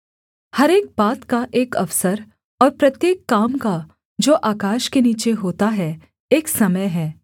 हर एक बात का एक अवसर और प्रत्येक काम का जो आकाश के नीचे होता है एक समय है